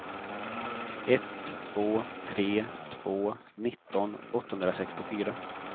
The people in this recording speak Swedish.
ett två tre två nitton åttahundrasextiofyra